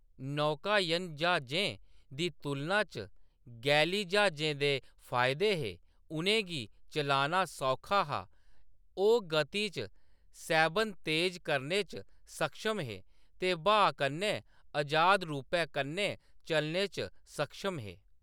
नौकायन ज्हाजें दी तुलना च गैली ज्हाजें दे फायदे हे : उʼनें गी चलाना सौखा हा, ओह्‌‌ गति च सैह्‌‌‌बन तेज करने च सक्षम हे, ते ब्हाऽ कन्नै अजाद रूपै कन्नै चलने च सक्षम हे।